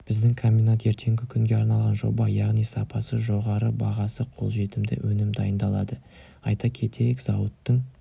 біздің комбинат ертеңгі күнге арналған жоба яғни сапасы жоғары бағасы қолжетімді өнім дайындалады айта кетейік зауыттың